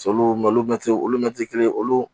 olu mɛtiri olu mɛtiri kelen olu